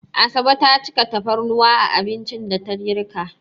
Asabe ta cika tafarnuwa a abincin da ta girka.